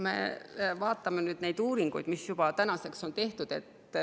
Vaatame neid uuringuid, mis on tänaseks tehtud.